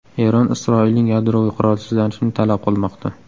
Eron Isroilning yadroviy qurolsizlanishini talab qilmoqda.